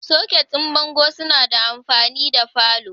Soket din bango suna da amfani da falo